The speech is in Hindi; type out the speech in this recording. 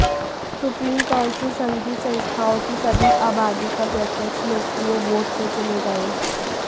सुप्रीम काउंसिल संघीय संस्थाओं की सभी आबादी का प्रत्यक्ष लोकप्रिय वोट से चुने गए